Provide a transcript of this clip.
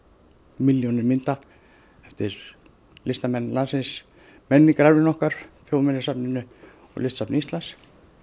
milljónir mynda eftir listamenn landsins menningararfinn okkar á Þjóðminjasafninu og Listasafni Íslands